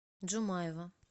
джумаева